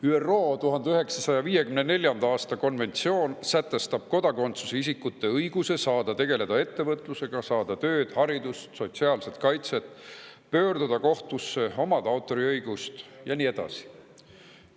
ÜRO 1954. aasta konventsioon sätestab kodakondsuseta isikute õiguse saada tegeleda ettevõtlusega, saada tööd, haridust, sotsiaalset kaitset, pöörduda kohtusse, omada autoriõigust ja nii edasi.